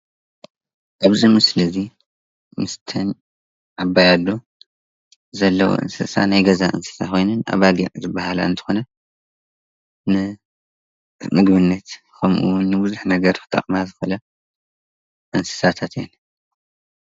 ኣብዚ ምስሊ እዚ ምስተን ዓባይ ኣዶ ዘለዋ እንስሳ ናይ ገዛ እንስሳ ኮይነን ኣባጊዕ ዝባሃላ እንትኮና ንምግብነት ከምኡ እውን ንቡዙሕ ነገር ክጠቅማ ዝክእላ እንስሳታት እየን፡፡